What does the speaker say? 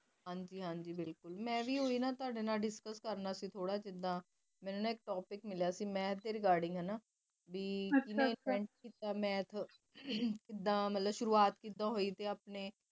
ਹਨ ਜੀ ਹਨ ਜੀ ਮੇਂ ਵੀ ਓਹੀ ਨਾ ਤੁਹਾਡੇ ਨਾਲ discus ਕਰਨਾ ਸੀ ਥੋੜਾ ਜਿਹਾ ਮੇਨੂ ਇਕ topic ਮਿਲਿਆ ਸੀ math ਦੇ regarding ਹੈਨਾ ਵੀ ਅਛਾ ਅਛਾ ਜਿਵੇ ਸੁਰੂਆਤ ਹੋਯੀ ਚ ਆਪਣੇ